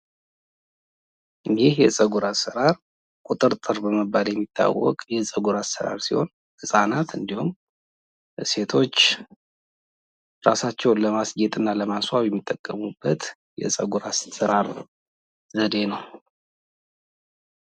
ይህ የጸጉር አሰራር ቁጥርጥር በመባል የሚታወቅ የጸጉር አሰራር ሲሆን ህጻናቶች እንዲሁም ሴቶች እራሳቸውን ለማስጌጥ እና ለማስዋብ የሚጠቀሙበት የጸጉር አሰራር ዘዴ ነው።